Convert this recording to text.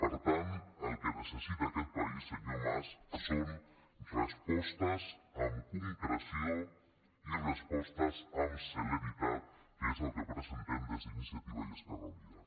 per tant el que necessita aquest país senyor mas són respostes amb concreció i respostes amb celeritat que és el que presentem des d’iniciativa i esquerra unida